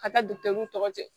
Ka taa tɔ cɛ